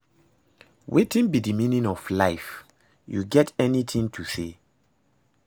Wetin be di meaning of life, you get any thing to say?